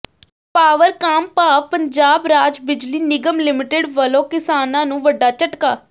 ਪਾਵਰਕਾਮ ਭਾਵ ਪੰਜਾਬ ਰਾਜ ਬਿਜਲੀ ਨਿਗਮ ਲਿਮਟਿਡ ਵੱਲੋਂ ਕਿਸਾਨਾਂ ਨੂੰ ਵੱਡਾ ਝਟਕਾ